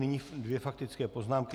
Nyní dvě faktické poznámky.